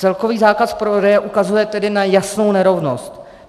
Celkový zákaz prodeje ukazuje tedy na jasnou nerovnost.